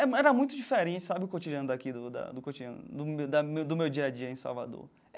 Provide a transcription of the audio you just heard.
Era era muito diferente, sabe, o cotidiano daqui, do da do cotidiano do meu da meu do meu dia a dia em Salvador.